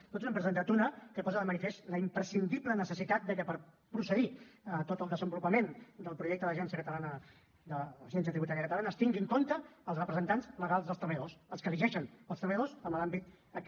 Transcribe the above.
nosaltres n’hem presentat una que posa de manifest la imprescindible necessitat de que per procedir a tot el desenvolupament del projecte d’agència tributària catalana es tinguin en compte els representants legals dels treballadors els que elegeixen els treballadors en l’àmbit aquest